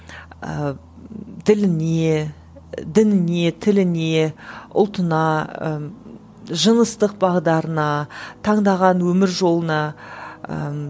ыыы діліне дініне тіліне ұлтына ы жыныстық бағдарына таңдаған өмір жолына ыыы